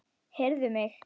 Heyrðu mig.